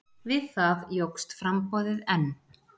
Við það jókst framboðið enn.